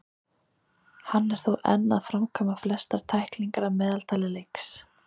Hann er þó enn að framkvæma flestar tæklingar að meðaltali í leiks.